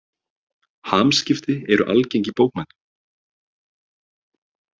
Hamskipti eru algeng í bókmenntum.